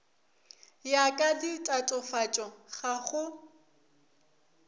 ya ka ditatofatšo ga go